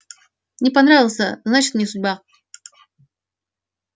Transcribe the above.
не понравился значит не судьба